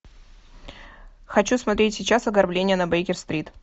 хочу смотреть сейчас ограбление на бейкер стрит